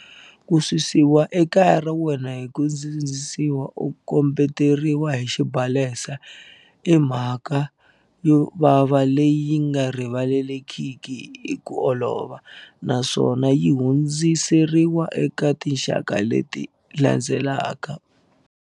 Ku susiwa ekaya ra wena hi ku sindzisiwa u kombe teriwile hi xibalesa i mhaka yo vava leyi nga rivalekiki hi ku olova, naswona yi hundzi seriwa eka tinxaka leti la ndzelaka.